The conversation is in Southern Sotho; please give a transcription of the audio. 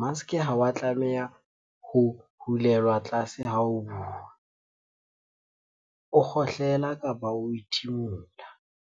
Maske ha wa tlameha ho hulelwa tlase ha o bua, o kgohlela kapa o ithimula.